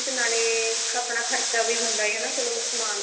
ਨਾਲੇ ਆਪਣਾ ਖਰਚਾ ਵੀ ਹੁੰਦਾ ਚਲੋ ਸਮਾਨ